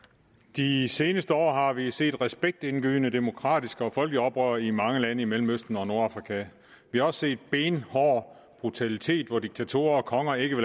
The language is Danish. de seneste år har vi set respektindgydende demokratiske og folkelige oprør i mange lande i mellemøsten og nordafrika vi har også set benhård brutalitet når diktatorer og konger ikke